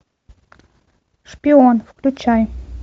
шпион включай